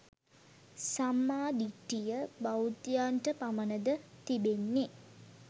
සම්මා දිට්ඨිය බෞද්ධයන්ට පමණ ද තිබෙන්නේ?